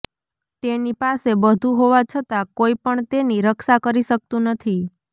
તેની પાસે બધંુ હોવા છતાં કોઈ પણ તેની રક્ષા કરી શકતું નથી